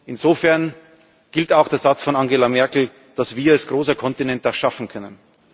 Insofern gilt auch der Satz von Angela Merkel, dass wir als großer Kontinent das schaffen können.